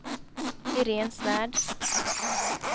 Iréne Svärd